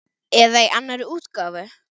Eða í annarri útgáfu